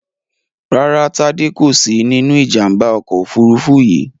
Rárá, Tádé kò sí nínú Ìjàm̀bá ọkọ̀ òfurufú yìí